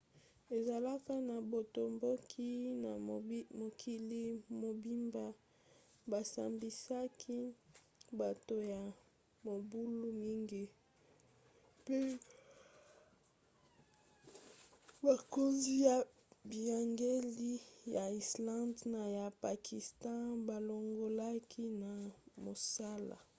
ezalaki na botomboki na mokili mobimba basambisaki bato ya mobulu mingi mpe bakonzi ya biyangeli ya islande na ya pakistan balongolaki na mosala